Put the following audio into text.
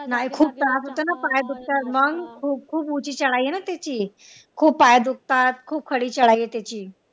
नाय खूप त्रास होतो ना पाय दुखतात मग खूप खूप उची चढाई आहे ना त्याची खूप पाय दुखतात खूप चढाई आहे त्याची